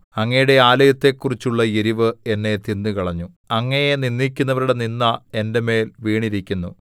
അങ്ങയുടെ ആലയത്തെക്കുറിച്ചുള്ള എരിവ് എന്നെ തിന്നുകളഞ്ഞു അങ്ങയെ നിന്ദിക്കുന്നവരുടെ നിന്ദ എന്റെ മേൽ വീണിരിക്കുന്നു